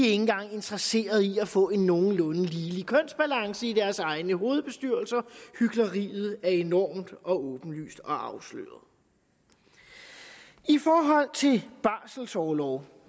engang interesseret i at få en nogenlunde ligelig kønsbalance i deres egne hovedbestyrelser hykleriet er enormt og åbenlyst og afsløret i forhold til barselorlov